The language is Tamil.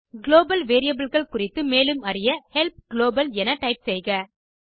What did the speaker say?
குளோபல் variableகள் குறித்து மேலும் அறிய ஹெல்ப் குளோபல் என டைப் செய்க